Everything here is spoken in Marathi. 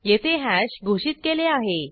येथे हॅश घोषित केले आहे